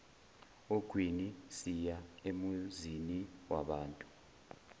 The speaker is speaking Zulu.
ogwini siya emuziniwabantu